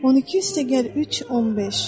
12 + 3 = 15.